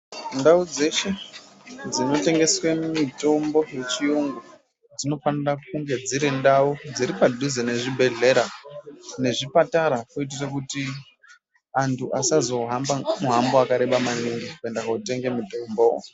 Ndau dzeshe dzinotengeswe mitombo yechiyungu dzinonofanira kunge dziri ndau dziri padhuze nezvibhedhlera nezvipatara kuitira kuti antu asazo hamba muhambo wakareba maningi kuenda kundotenga mitombo.